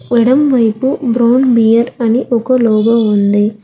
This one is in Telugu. మేడం వైపు బ్రౌన్ బీర్ అని ఒక లోగో ఉంది.